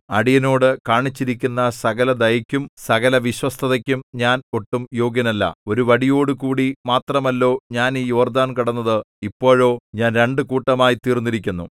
അടിയനോട് കാണിച്ചിരിക്കുന്ന സകലദയയ്ക്കും സകലവിശ്വസ്തതയ്ക്കും ഞാൻ ഒട്ടും യോഗ്യനല്ല ഒരു വടിയോടുകൂടി മാത്രമല്ലോ ഞാൻ ഈ യോർദ്ദാൻ കടന്നത് ഇപ്പോഴോ ഞാൻ രണ്ടു കൂട്ടമായി തീർന്നിരിക്കുന്നു